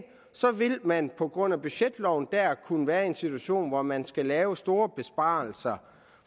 så vil man på grund af budgetloven dér kunne være i en situation hvor man skal lave store besparelser